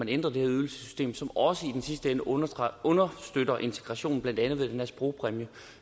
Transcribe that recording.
ændret det her ydelsessystem som også i sidste ende understøtter understøtter integrationen blandt andet med den her sprogpræmie